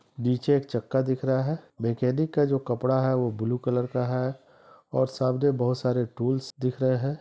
नीचे एक चक्का दिख रहा है। मैकेनिक का जो कपड़ा है वो ब्लू कलर का है और सामने बहोत सारे टूल्स दिख रहे हैं।